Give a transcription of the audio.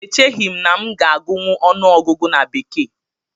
Echeghị m na m ga-agụnwu ọnụọgụgụ na bekee